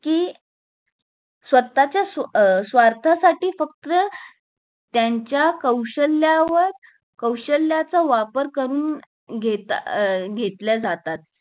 ताची स्वतःच्या स्वा अं स्वार्थासाठी फक्त त्यांच्या कौशल्यावर कौशल्याचा वापर करून घेतात अं घेतला जातात